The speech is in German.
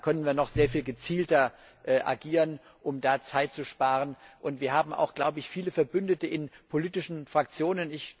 Ich glaube, da können wir noch sehr viel gezielter agieren, um da Zeit zu sparen, und wir haben auch, glaube ich, viele Verbündete in politischen Fraktionen.